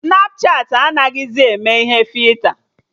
Snapchatị anaghịzị eme ihe fita